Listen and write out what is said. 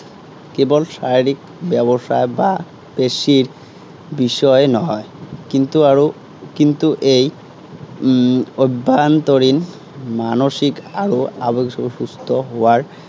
কেৱল শাৰিৰীক ব্যৱস্থা বা পেশীৰ বিষয়ে নহয়, কিন্তু আৰু কিন্তু এই উম অভ্য়ান্তৰিণ মানসিক আৰু আবেগিক সুস্থ হোৱাৰ